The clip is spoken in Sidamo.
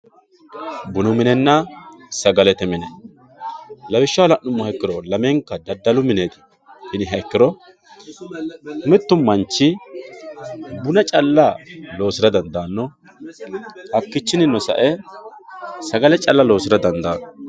bunu minenna sagalete mine lawishshaho la'nummo ikkiro lamenka daddalu mine yiniha ikkiro mittu manchi buna calla loosira dandaanno hakkiichinnino sa'e sagale calla loosira dandaanno